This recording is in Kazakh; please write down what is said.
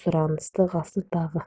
сұранысы ғасырдағы